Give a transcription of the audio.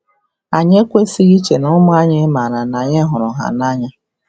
Anyị ekwesịghị iche na ụmụ anyị maara na anyị hụrụ ha n’anya.”